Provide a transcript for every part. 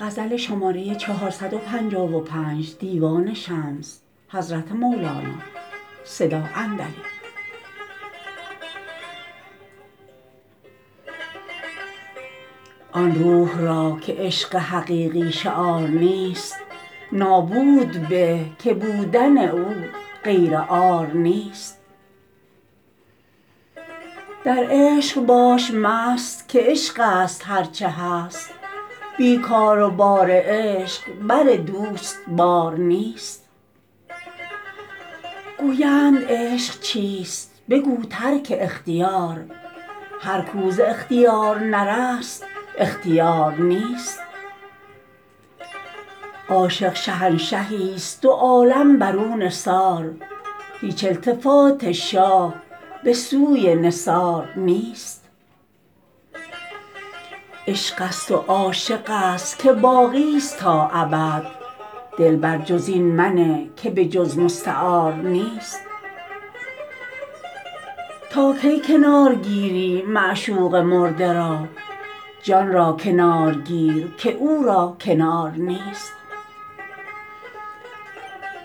آن روح را که عشق حقیقی شعار نیست نابوده به که بودن او غیر عار نیست در عشق باش مست که عشقست هر چه هست بی کار و بار عشق بر دوست بار نیست گویند عشق چیست بگو ترک اختیار هر کو ز اختیار نرست اختیار نیست عاشق شهنشهیست دو عالم بر او نثار هیچ التفات شاه به سوی نثار نیست عشقست و عاشقست که باقیست تا ابد دل بر جز این منه که به جز مستعار نیست تا کی کنار گیری معشوق مرده را جان را کنار گیر که او را کنار نیست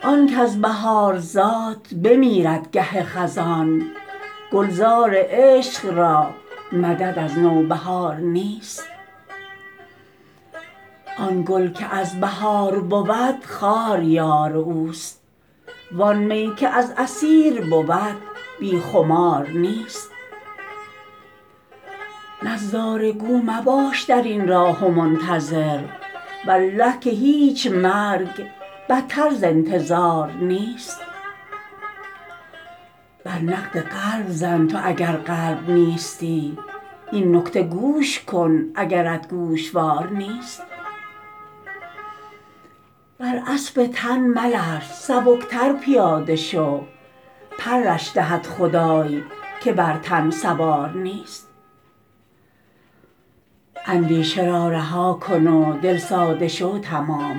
آن کز بهار زاد بمیرد گه خزان گلزار عشق را مدد از نوبهار نیست آن گل که از بهار بود خار یار اوست وان می که از عصیر بود بی خمار نیست نظاره گو مباش در این راه و منتظر والله که هیچ مرگ بتر ز انتظار نیست بر نقد قلب زن تو اگر قلب نیستی این نکته گوش کن اگرت گوشوار نیست بر اسب تن ملرز سبکتر پیاده شو پرش دهد خدای که بر تن سوار نیست اندیشه را رها کن و دل ساده شو تمام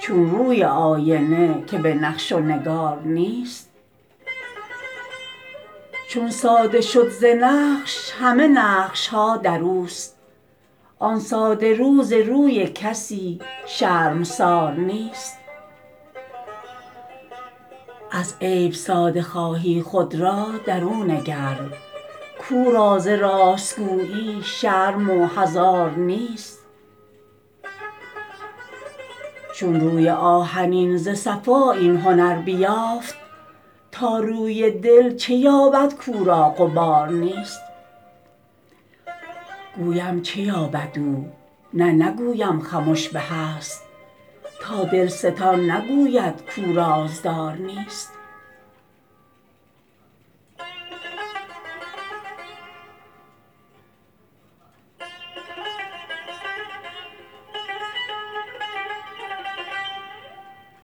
چون روی آینه که به نقش و نگار نیست چون ساده شد ز نقش همه نقش ها در اوست آن ساده رو ز روی کسی شرمسار نیست از عیب ساده خواهی خود را در او نگر کو را ز راست گویی شرم و حذار نیست چون روی آهنین ز صفا این هنر بیافت تا روی دل چه یابد کو را غبار نیست گویم چه یابد او نه نگویم خمش به است تا دلستان نگوید کو رازدار نیست